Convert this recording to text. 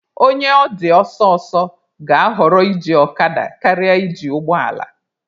Onye ọ dị ọsọ ọsọ ga-ahọrọ iji ọkada karịa iji ụgbọ ala.